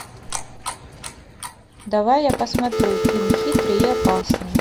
давай я посмотрю фильм хитрый и опасный